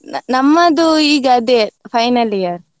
ನಮ್ಮದು ಈಗ ಅದೇ final year .